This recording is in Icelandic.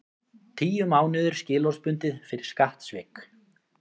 Tíu mánuðir skilorðsbundið fyrir skattsvik